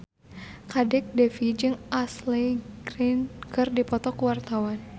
Kadek Devi jeung Ashley Greene keur dipoto ku wartawan